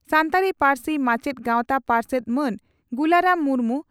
ᱥᱟᱱᱛᱟᱲᱤ ᱯᱟᱹᱨᱥᱤ ᱢᱟᱪᱮᱛ ᱜᱟᱶᱛᱟ ᱯᱟᱨᱥᱮᱛ ᱢᱟᱱ ᱜᱩᱞᱟᱨᱟᱢ ᱢᱩᱨᱢᱩ